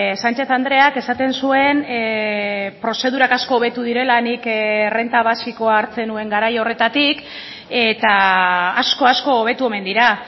sanchez andreak esaten zuen prozedurak asko hobetu direla nik errenta basikoa hartzen nuen garai horretatik eta asko asko hobetu omen dira